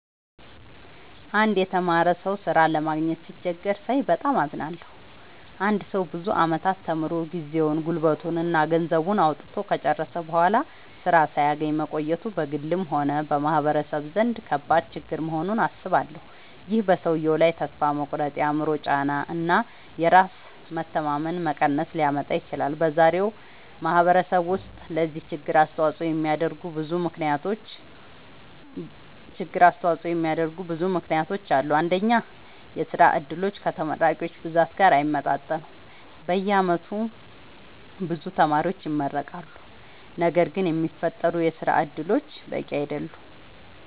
አንድ የተማረ ሰው ሥራ ለማግኘት ሲቸገር ሳይ በጣም አዝናለሁ። አንድ ሰው ብዙ ዓመታት ተምሮ፣ ጊዜውን፣ ጉልበቱን እና ገንዘቡን አውጥቶ ከጨረሰ በኋላ ሥራ ሳያገኝ መቆየቱ በግልም ሆነ በማህበረሰብ ደረጃ ከባድ ችግር መሆኑን አስባለሁ። ይህ በሰውየው ላይ ተስፋ መቁረጥ፣ የአእምሮ ጫና እና የራስ መተማመን መቀነስ ሊያመጣ ይችላል። በዛሬው ማህበረሰብ ውስጥ ለዚህ ችግር አስተዋጽኦ የሚያደርጉ ብዙ ምክንያቶች አሉ። አንደኛ፣ የሥራ ዕድሎች ከተመራቂዎች ብዛት ጋር አይመጣጠኑም። በየዓመቱ ብዙ ተማሪዎች ይመረቃሉ፣ ነገር ግን የሚፈጠሩ የሥራ እድሎች በቂ አይደሉም።